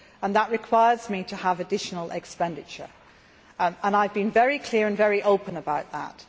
That requires me to have additional expenditure, and I have been very clear and very open about that.